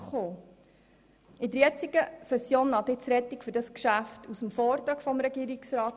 In der jetzigen Session naht die Rettung für dieses Geschäft aus dem Vortrag des Regierungsrats.